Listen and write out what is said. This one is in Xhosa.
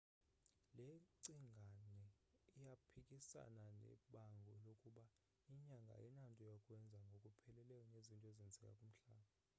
le cingane iyaphikasana nebango lokuba inyanga ayinanto yakwenza ngokupheleleyo nezinto ezenzeka kumhlaba